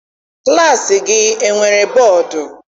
Klassi gị enwere bọdu?